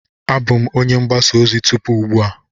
Abụ m onye mgbasa ozi tupu ugbu a.